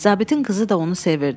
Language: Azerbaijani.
Zabitin qızı da onu sevirdi.